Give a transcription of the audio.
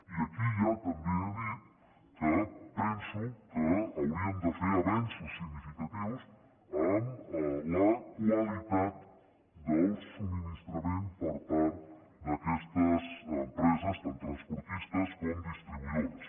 i aquí ja també he dit que penso que hauríem de fer avenços significatius en la qualitat del subministrament per part d’aquestes empreses tant transportistes com distribuïdores